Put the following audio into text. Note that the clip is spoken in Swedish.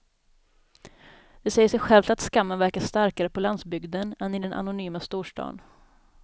Det säger sig självt att skammen verkar starkare på landsbygden än i den anonyma storstaden.